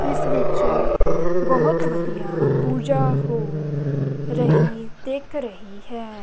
ਇਸ ਵਿੱਚ ਬਹੁਤ ਵਧੀਆ ਪੂਜਾ ਹੋ ਰਹੀ ਦਿਖ ਰਹੀ ਹੈ।